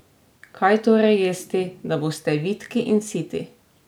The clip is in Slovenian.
Kaj torej jesti, da boste vitki in siti?